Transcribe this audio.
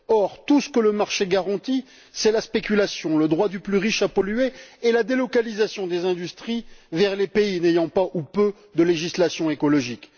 Or, tout ce que le marché garantit, c'est la spéculation, le droit du plus riche à polluer et la délocalisation des industries vers les pays n'ayant pas ou peu de législation écologique.